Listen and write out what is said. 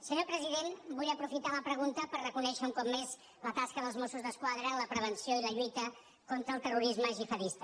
senyor president vull aprofitar la pregunta per reconèixer un cop més la tasca dels mossos d’esquadra en la prevenció i la lluita contra el terrorisme gihadista